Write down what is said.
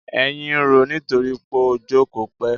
Èyìn ń roó nítorí pó jókòó pẹ́.